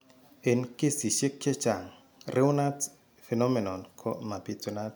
En kesiisyek chechaang Raynaud's phenomenon ko mabitunat